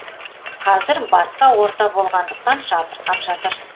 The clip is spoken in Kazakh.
қазір басқа орта болғандықтан жатырқап жатыр